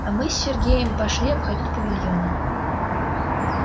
а мы с сергеем пошли обходить павильоны